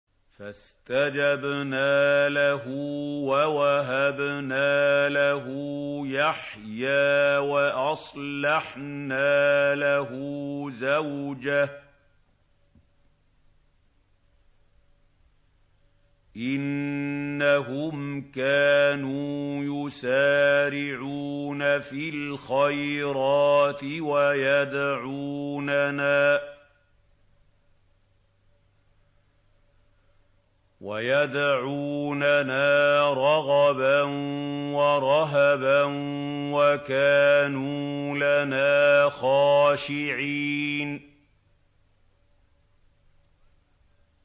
فَاسْتَجَبْنَا لَهُ وَوَهَبْنَا لَهُ يَحْيَىٰ وَأَصْلَحْنَا لَهُ زَوْجَهُ ۚ إِنَّهُمْ كَانُوا يُسَارِعُونَ فِي الْخَيْرَاتِ وَيَدْعُونَنَا رَغَبًا وَرَهَبًا ۖ وَكَانُوا لَنَا خَاشِعِينَ